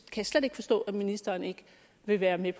jeg slet ikke forstå at ministeren ikke vil være med